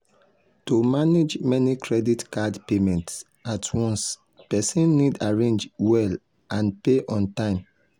to manage many credit card payments at once person need arrange well and pay on time.